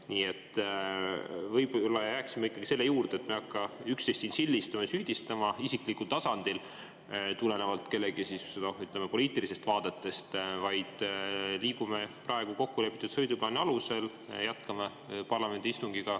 Nii et võib-olla jääksime ikkagi selle juurde, et me ei hakka üksteist siin sildistama ja süüdistama isiklikul tasandil tulenevalt kellegi poliitilistest vaadetest, vaid liigume praegu kokkulepitud sõiduplaani alusel, jätkame parlamendi istungit.